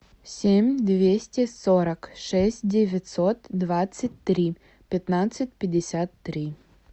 семь двести сорок шесть девятьсот двадцать три пятнадцать пятьдесят три